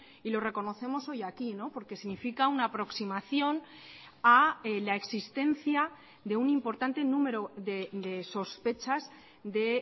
y lo reconocemos hoy aquí porque significa una aproximación a la existencia de un importante número de sospechas de